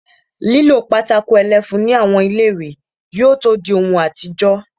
Lílo pátákó ẹlẹ́fun ní àwọn ilé-ìwé yóò tó dí ohun àtijọ́